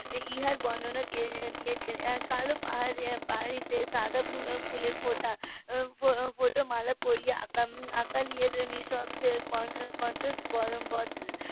এর বর্ণনা দিয়েছেন কালো পাহাড়ি তে সাদা ফুলের ফোটা ফোটা মালা পরিয়ে .